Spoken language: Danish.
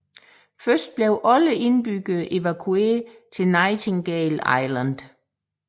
Først blev alle indbyggere evakueret til Nightingale Island